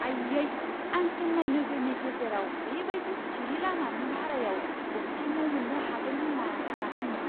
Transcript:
आयै! आं चेन्नाई नोगोरनि गेजेराव बे बायदि सिरि लामानि भारायाव गंसे न' मोन्नो हागोन होन्ना सानाखैमोन।